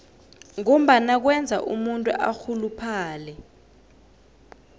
ngombana kwenza umuntu arhuluphale